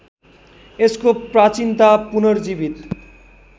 यसको प्राचीनता पुनर्जीवित